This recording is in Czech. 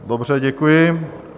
Dobře, děkuji.